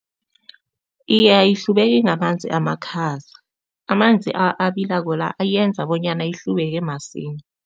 Iye, ayihlubeki ngamanzi amakhaza. Amanzi abilako la eyenza bonyana ihlubeke masinya.